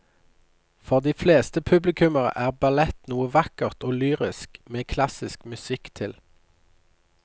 For de fleste publikummere er ballett noe vakkert og lyrisk med klassisk musikk til.